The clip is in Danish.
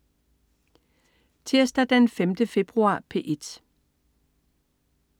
Tirsdag den 5. februar - P1: